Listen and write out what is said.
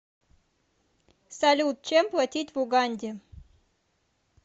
салют чем платить в уганде